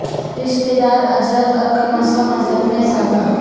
رشتہ دار اجرت اور کم از کم اجرت میں اضافہ